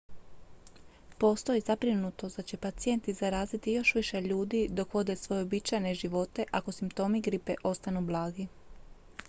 postoji zabrinutost da će pacijenti zaraziti još više ljudi dok vode svoje uobičajene živote ako simptomi gripe ostanu blagi